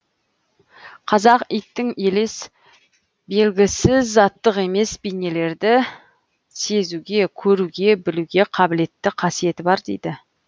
қазақ иттің елес белгісіз заттық емес бейнелерді сезуге көруге білуге қабілетті қасиеті бар дейді